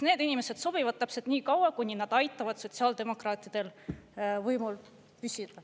Need inimesed sobivad täpselt nii kaua, kuni nad aitavad sotsiaaldemokraatidel võimul püsida.